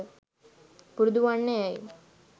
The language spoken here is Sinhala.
පුරුදුවන්න යැයි